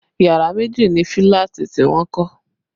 Yàrá méjì ni fílàtì tí wọ́n kọ́